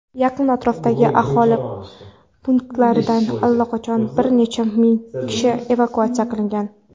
Yaqin atrofdagi aholi punktlaridan allaqachon bir necha ming kishi evakuatsiya qilingan.